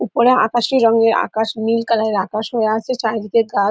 উপরে আকাশি রঙের আকাশ নীল কালার -এর আকাশ হয়ে আছে চারিদিকে গাছ ।